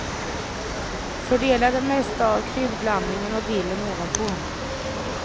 Fördela det mesta av kryddblandningen och dillen ovanpå.